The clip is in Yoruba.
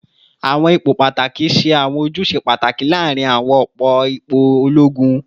Awọn ipo pataki ṣe awọn ojuse pataki laarin awọn ipo ologun